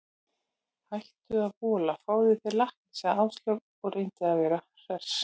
Hættu að vola, fáðu þér lakkrís sagði Áslaug og reyndi að vera hress.